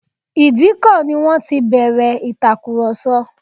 Ìdíkọ̀ ni wọ́n ti bẹ̀rẹ̀ ìtàkurọsọ̀